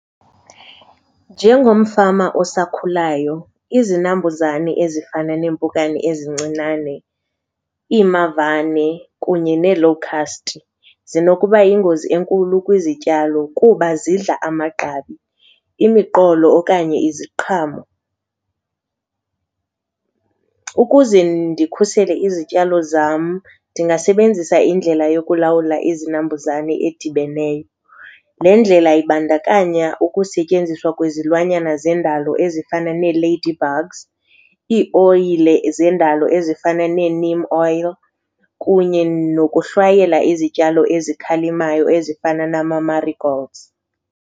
Njengomfama osakhulayo izinambuzane ezifana neempukane ezincinane, iimavane kunye nee-locust zinokuba yingozi enkulu kwizityalo kuba zidla amagqabi, imiqolo okanye iziqhamo. Ukuze ndikhusele izityalo zam ndingasebenzisa indlela yokulawula izinambuzane edibeneyo. Le ndlela ibandakanya ukusetyenziswa kwezilwanyana zendalo ezifana nee-ladybugs, iioyile zendalo ezifana nee-neem oil kunye nokuhlwayela izityalo ezikhalimayo ezifana nama-marigolds.